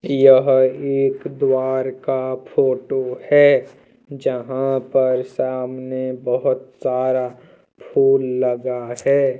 यह एक द्वारा का फोटो है जहां पर सामने बहोत सारा फुल लगा है।